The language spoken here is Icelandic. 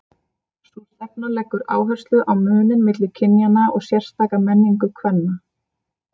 Sú stefna leggur áherslu á muninn milli kynjanna og sérstaka menningu kvenna.